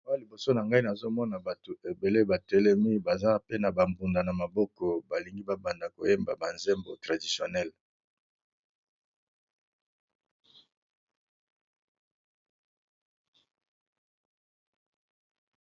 Awa liboso na ngai nazo mona bato ebele ba telemi baza pe na ba mbunda na maboko, balingi ba banda koyemba ba nzembo traditionnelle.